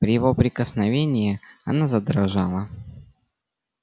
при его прикосновении она задрожала